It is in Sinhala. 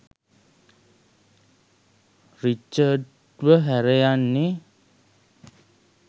රිචඩ්ව හැර යන්නෙ